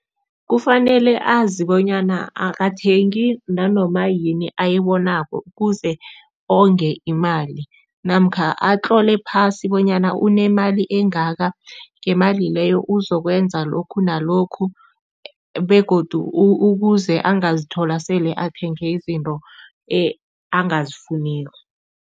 Kufanele azi bonyana akathengi nanoma yini ayibonako ukuze onge imali namkha atlole phasi bonyana unemali engaka, ngemali leyo uzokwenza lokhu nalokhu begodu ukuze angazithola sele athenge izinto angazifuniko.